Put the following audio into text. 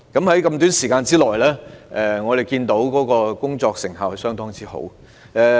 雖然時間短促，但我們看到他們的工作成效相當好。